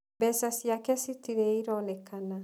Mbeca ciake citirĩ ironekana.